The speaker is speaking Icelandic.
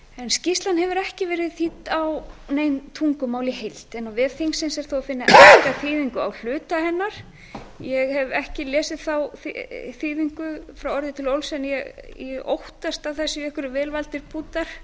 skýrslan hefur ekki verið þýdd á nein tungumál í heild en á vef þingsins er þó að finna enska þýðingu á hluta hennar ég hef ekki lesið þá þýðingu frá orði til orðs en ég óttast að það séu einhverjir vel valdir punktar